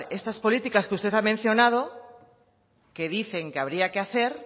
estas políticas que usted ha mencionado que dicen que habría que hacer